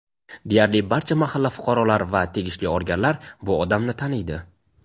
Deyarli barcha mahalla fuqarolari va tegishli organlar bu odamni "taniydi".